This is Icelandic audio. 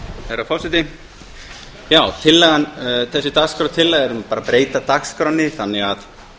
herra forseti þessi dagskrártillaga er bara um að breyta dagskránni þannig